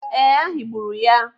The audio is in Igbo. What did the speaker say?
Ee, a higburu ya.